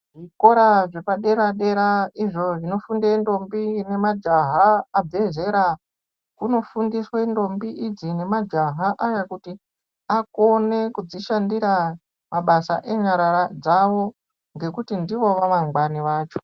Zvikora zvepadera-dera izvo zvinofunde ndombi nemajaha abve zera kunofundiswe ndombi idzi nemajaha aya kuti akone kudzishandira mabasa enyara dzavo ngekuti ndivo vamangwani vacho.